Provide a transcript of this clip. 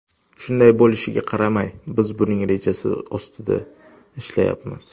Shunday bo‘lishiga qaramay, biz buning rejasiga ustida ishlayapmiz.